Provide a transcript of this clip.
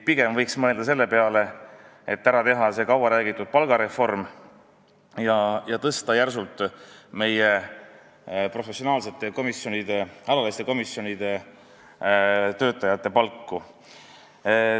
Pigem võiks mõelda selle peale, et teha ära see kaua räägitud palgareform ja tõsta järsult meie alaliste komisjonide professionaalsete töötajate palku.